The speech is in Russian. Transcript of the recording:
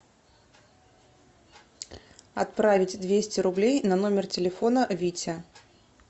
отправить двести рублей на номер телефона витя